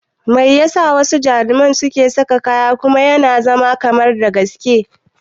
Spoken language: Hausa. Mai yasa wasu jaruman suke sa kaya kuma yana zama kamar gaski?